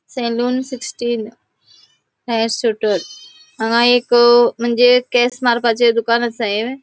हांगा एक मंजे केस मारपाचे दुकान आसा ये.